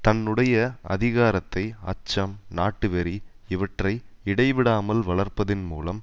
தன்னுடைய அதிகாரத்தை அச்சம் நாட்டுவெறி இவற்றை இடைவிடாமல் வளர்ப்பதின் மூலம்